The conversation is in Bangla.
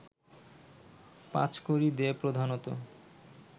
পাঁচকড়ি দে প্রধানত